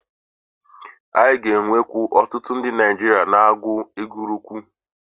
Anyị ga-enwekwu otutu ndi Naijiria na-agu egwu roku.